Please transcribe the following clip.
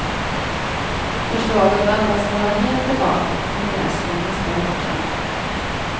Förslaget väntas vålla het debatt under kongressen i nästa vecka.